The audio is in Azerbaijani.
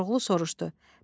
Koroğlu soruşdu.